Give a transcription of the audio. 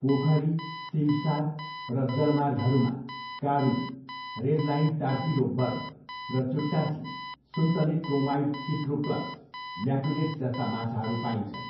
पोखरी, सिमसार र जलमार्गहरूमा, काडू, रेड लाइन टारपिडो बर्ब र चुट्टाची, सुन्तले क्रोमाइड इट्रोप्लस म्याकुलेटस जस्ता माछाहरू पाइन्छन्।